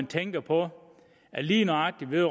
tænker på at lige nøjagtig med